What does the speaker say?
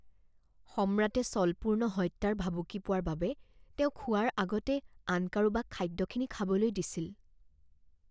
সম্ৰাটে ছলপূৰ্ণ হত্যাৰ ভাবুকি পোৱাৰ বাবে তেওঁ খোৱাৰ আগতে আন কাৰোবাক খাদ্যখিনি খাবলৈ দিছিল।